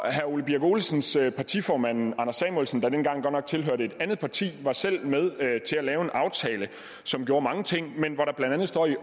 herre ole birk olesens partiformand anders samuelsen der dengang godt nok tilhørte et andet parti var selv med til at lave en aftale som gjorde mange ting men hvor der blandt andet står i